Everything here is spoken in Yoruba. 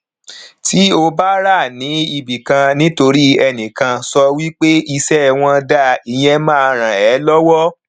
tí ó bá ra ni ibi kan ni torí enikan so wipe ìṣe wọn da ìyẹn má rán ẹ lọwọ